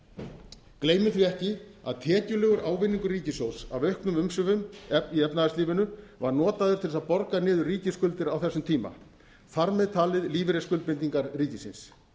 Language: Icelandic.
segja gleymum því ekki að tekjulegur ávinningur ríkissjóðs af auknum umsvifum í efnahagslífinu var notaður til að borga niður ríkisskuldir á þessum tíma þar með talið lífeyrisskuldbindingar ríkisins